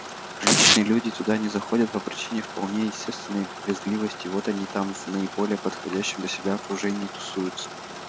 приличные люди туда не заходят по причине вполне естественной брезгливости вот они там в наиболее подходящем для себя окружении и тусуются